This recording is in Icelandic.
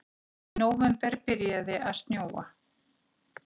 Í nóvember byrjaði að snjóa.